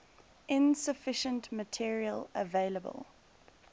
insufficient material available